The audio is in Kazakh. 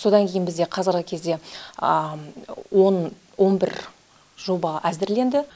содан кейін бізде қазіргі кезде он он бір жоба әзірленді